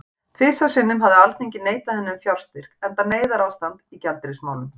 Tvisvar sinnum hafði Alþingi neitað henni um fjárstyrk, enda neyðarástand í gjaldeyrismálum.